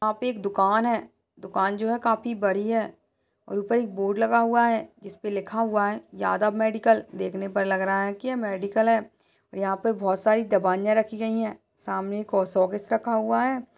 यहां पे एक दुकान है। दुकान जो है काफी बड़ी है और ऊपर एक बोर्ड लगा हुआ है जिसपे लिखा हुआ है यादव मेडिकल । देखने पर लग रहा है कि यह मेडिकल है और यहां पर बोहत सारी दवाइयां रखी गई हैं। सामने एक शोकेस रखा हुआ है--